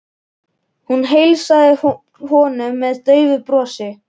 Bót, spilaðu lagið „Heilræðavísur“.